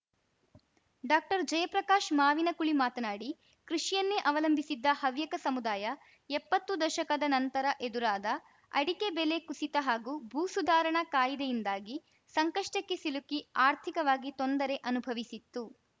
ಡಾಕ್ಟರ್ಜಯಪ್ರಕಾಶ್‌ ಮಾವಿನಕುಳಿ ಮಾತನಾಡಿ ಕೃಷಿಯನ್ನೇ ಅವಲಂಭಿಸಿದ್ದ ಹವ್ಯಕ ಸಮುದಾಯ ಎಪ್ಪತ್ತು ದಶಕದ ನಂತರ ಎದುರಾದ ಅಡಿಕೆ ಬೆಲೆ ಕುಸಿತ ಹಾಗೂ ಭೂಸುಧಾರಣಾ ಕಾಯಿದೆಯಿಂದಾಗಿ ಸಂಕಷ್ಟಕ್ಕೆ ಸಿಲುಕಿ ಆರ್ಥಿಕವಾಗಿ ತೊಂದರೆ ಅನುಭವಿಸಿತ್ತು